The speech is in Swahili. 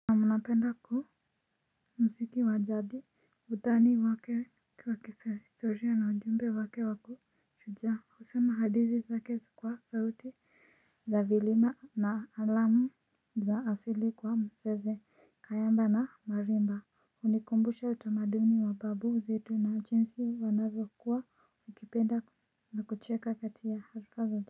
Anapenda kuhu msiki wajadi utani wake kwa kihistoria na ujumbe wake wake wakishujaa. Husema hadithi zake kwa sauti za vilima na alamu za asili kwa mzeze, kayamba na marimba. Hunikumbusha utamaduni wa babu zetu na jinsi wanavyokua wakipenda na kucheka kati ya halfa zao.